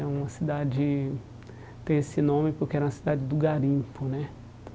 É uma cidade, tem esse nome porque era uma cidade do garimpo, né?